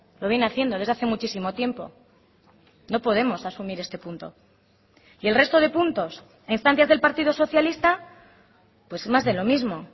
lo viene haciendo desde hace muchísimo tiempo no podemos asumir este punto y el resto de puntos a instancias del partido socialista pues más de lo mismo